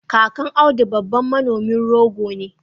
kakan audu babban Manomin rogo ne